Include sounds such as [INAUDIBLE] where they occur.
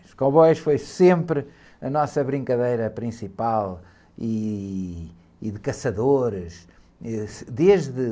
Os cowboys foi sempre a nossa brincadeira principal e, e de caçadores. E... [UNINTELLIGIBLE]